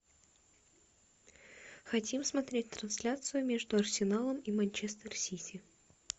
хотим смотреть трансляцию между арсеналом и манчестер сити